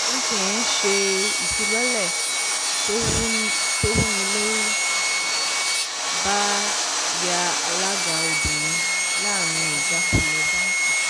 mtn ṣe um ìfilọ́lẹ̀ tó wúnilórí uba yan alága obìnrin láàrin ìjákulẹ̀ báńkì.